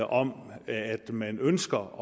om at man ønsker